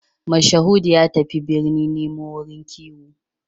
Mashahudu ya tafi birni nemo wurin kiwo